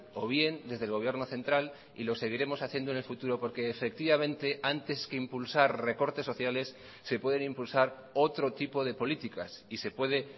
o bien desde el gobierno central y lo seguiremos haciendo en el futuro porque efectivamente antes que impulsar recortes sociales se pueden impulsar otro tipo de políticas y se puede